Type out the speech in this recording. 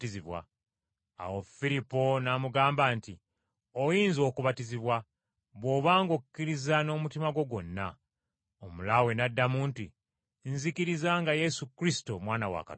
Awo Firipo n’amugamba nti, “Oyinza okubatizibwa, bw’oba ng’okkiriza n’omutima gwo gwonna.” Omulaawe n’addamu nti, “Nzikiriza nga Yesu Kristo Mwana wa Katonda.”